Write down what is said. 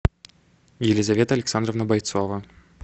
елизавета александровна бойцова